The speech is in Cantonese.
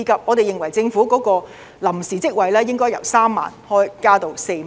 我們認為政府推出的臨時職位應該由3萬個增至4萬個。